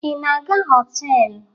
Ị na-aga họtelụ?